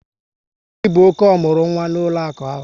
Gịni bụ ọke omurunwa n'ụlọaku ahụ?